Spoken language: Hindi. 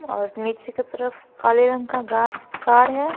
और नीचे की तरफ काले रंग का गा कार है।